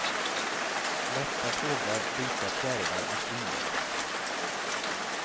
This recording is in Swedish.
Lätta fåglar, vita fjärilar och svindel.